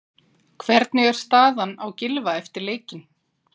Hvernig er staðan á Gylfa eftir leikinn?